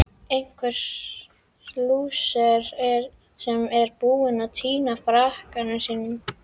Einhver lúser sem er búinn að týna frakkanum sínum!